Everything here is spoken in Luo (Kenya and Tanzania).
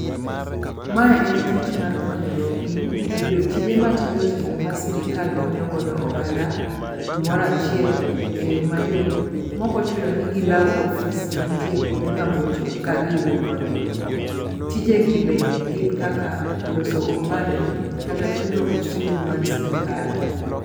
Mae en tich mar konyo joppiny yudo tije matindotindo ma sirikal konyogodo oganda kumoro achiel e yo mayot mokochuno nigilaw ofis mantie kuonde mabocho eka giyud konyno. Tijegi bende gin kaka loso opande kata chulo osuru mar sirikal.